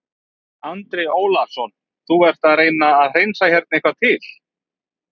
Andri Ólafsson: Þú ert að reyna að hreinsa hérna eitthvað til?